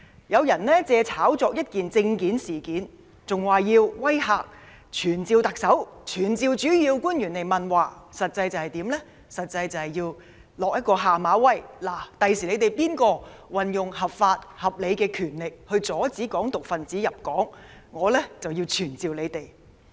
有人借炒作一件簽證事件，威嚇要傳召特首，傳召主要官員，實際上是向政府施下馬威，警告官員日後即使合法、合理行使權力阻止"港獨"分子入境，都會被傳召。